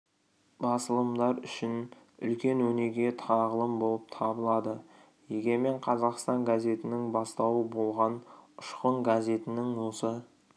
басылымдар үшін үлкен өнеге тағылым болып табылады егемен қазақстан газетінің бастауы болған ұшқын газетінің осы